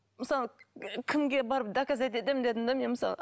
мысалы і кімге барып доказать етемін дедім де мен мысалы